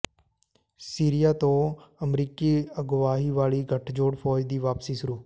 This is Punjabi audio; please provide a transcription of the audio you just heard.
ਸੀਰੀਆ ਤੋਂ ਅਮਰੀਕੀ ਅਗਵਾਈ ਵਾਲੀ ਗਠਜੋੜ ਫ਼ੌਜ ਦੀ ਵਾਪਸੀ ਸ਼ੁਰੂ